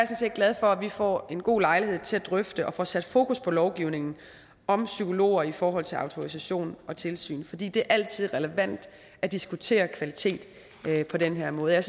set glad for at vi får en god lejlighed til at drøfte og får sat fokus på lovgivningen om psykologer i forhold til autorisation og tilsyn fordi det altid er relevant at diskutere kvalitet på den her måde jeg